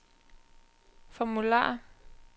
formular